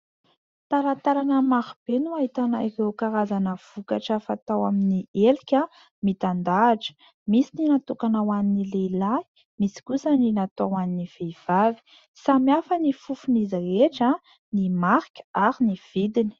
Talantalana marobe no ahitana ireo karazana vokatra fatao amin'ny elika mitandahatra ; misy ny natokana ho an'ny lehilahy misy kosa ny natao ho an'ny vehivavy ; samy hafa ny fofon'izy rehetra, ny marika ary ny vidiny.